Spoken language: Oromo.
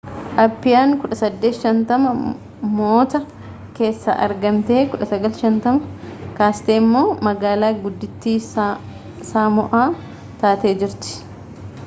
appiyaan 1850moota keessa argamtee 1959 kaasteemmoo magaalaa guddittii saamo'aa taatee jirti